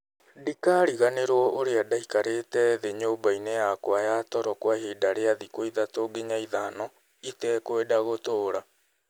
Ndikariganĩrũo ũrĩa ndaikarĩte thĩ nyũmba-inĩ yakwa ya toro kwa ihinda rĩa thikũ ithatũ nginya ithano, itekwenda gũtũũra.